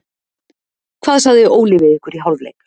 Hvað sagði Óli við ykkur í hálfleik?